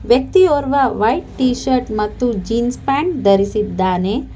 ವ್ಯಕ್ತಿಯೋರ್ವ white T shirt ಮತ್ತು jeans pant ಧರಿಸಿದ್ದಾನೆ.